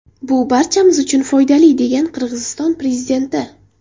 Bu barchamiz uchun foydali”, degan Qirg‘iziston prezidenti.